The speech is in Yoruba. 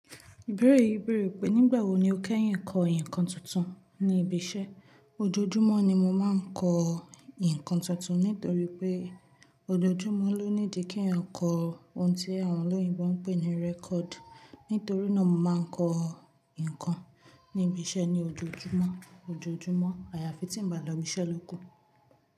Ibeẹ̀rẹ̀ yii béèrè pé, nígbà wo ni o kẹ́yìn kọ ìkan tuntun ní ibi iṣẹ́. Ojoojúmọ́ ni mo máa ń kọ ìkan tuntun nítorí pé ojoojúmọ́ ló nídi kí èèyàn kọ ohun tí àwọn olóyìnbo ń pè ní record. Nítorí náà mo máa ń kọ nǹkan níbi iṣẹ́ ní ojoojúmọ́, ojoojúmọ́ àyàfi tí ń bá lọ ibi iṣẹ́ lóku.